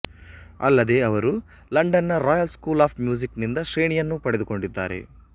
ಅಲ್ಲದೇ ಅವರು ಲಂಡನ್ ನ ರಾಯಲ್ ಸ್ಕೂಲ್ ಆಫ್ ಮ್ಯೂಸಿಕ್ ನಿಂದ ಶ್ರೇಣಿಯನ್ನೂ ಪಡೆದುಕೊಂಡಿದ್ದಾರೆ